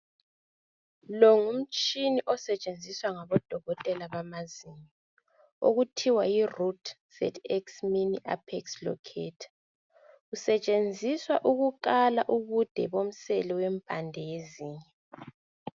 Lo ngumtshina osetshenziswa ngabodokotela bamazinyo okuthiwa yiruthi sethi mini aphekisi lokhetha kusetshenziswa ukukala ubude bomselo wempande yezinyo